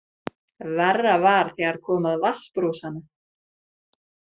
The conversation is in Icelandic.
Verra var þegar kom að vatnsbrúsanum.